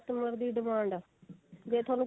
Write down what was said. customer ਦੀ demand ਆ ਜੇ ਥੋਨੂੰ